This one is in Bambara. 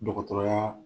Dɔgɔtɔrɔya